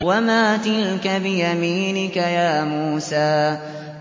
وَمَا تِلْكَ بِيَمِينِكَ يَا مُوسَىٰ